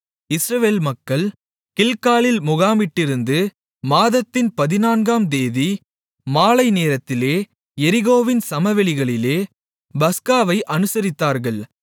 இஸ்ரவேல் மக்கள் கில்காலில் முகாமிட்டிருந்து மாதத்தின் பதினான்காம் தேதி மாலைநேரத்திலே எரிகோவின் சமவெளிகளிலே பஸ்காவை அனுசரித்தார்கள்